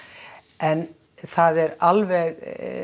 en það er alveg